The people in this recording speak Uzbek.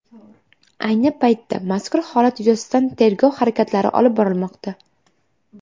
Ayni paytda mazkur holat yuzasidan tergov harakatlari olib borilmoqda.